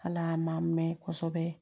Ala ma mɛn kosɛbɛ